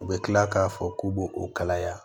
U bɛ tila k'a fɔ k'u b'o o kalaya